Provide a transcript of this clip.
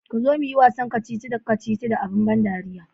kuzo muyi wasan kacici kacici da abin ban dariya.